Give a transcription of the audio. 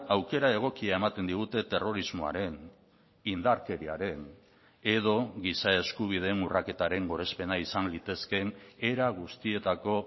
aukera egokia ematen digute terrorismoaren indarkeriaren edo giza eskubideen urraketaren gorespena izan litezkeen era guztietako